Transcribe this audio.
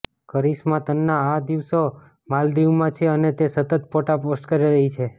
કરિશ્મા તન્ના આ દિવસો માલદીવમાં છે અને તે સતત ફોટા પોસ્ટ કરી રહી છે